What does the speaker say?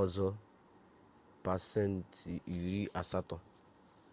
ọzọ pasenti iri asatọ